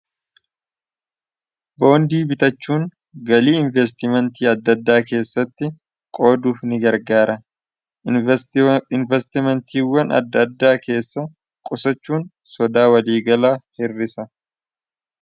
boondii bitachuun galii investimentii addaaddaa keessatti qooduuf ni gargaara investimentiiwwan adda addaa keessa qusachuun sodaa waliigalaa hirrisa